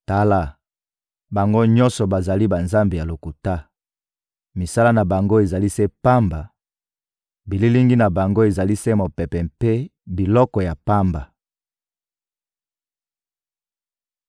Tala, bango nyonso bazali banzambe ya lokuta! Misala na bango ezali se pamba, bililingi na bango ezali se mopepe mpe biloko ya pamba.»